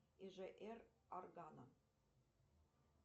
ижр органа